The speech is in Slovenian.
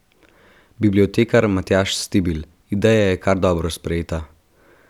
Bibliotekar Matjaž Stibilj: "Ideja je kar dobro sprejeta.